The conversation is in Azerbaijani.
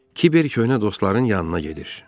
Kiber köhnə dostların yanına gedir.